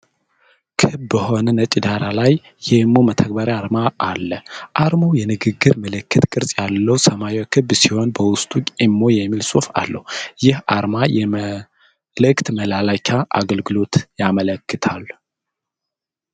ክብ በሆነ ነጭ ዳራ ላይ የኢሞ መተግበሪያ አርማ አለ። አርማው የንግግር ምልክት ቅርጽ ያለው ሰማያዊ ክብ ሲሆን በውስጡ ኢሞ የሚል ጽሑፍ አለው። ይህ አርማ የመልዕክት መላላኪያ አገልግሎት ያመለክታል።